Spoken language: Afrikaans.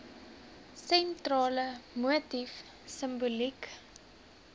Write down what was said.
sentrale motief simboliek